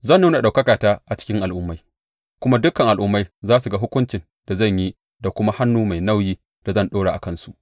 Zan nuna ɗaukakata a cikin al’ummai, kuma dukan al’ummai za su ga hukuncin da zan yi da kuma hannu mai nauyin da zan ɗora a kansu.